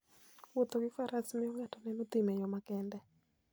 Wuotho gi Faras miyo ng'ato neno thim e yo makende.